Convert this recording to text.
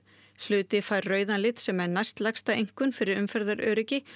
hluti fær rauðan lit sem er næstlægsta einkunn fyrir umferðaröryggi